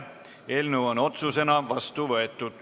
Eelnõu on otsusena vastu võetud.